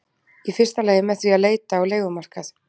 Í fyrsta lagi með því að leita á leigumarkað.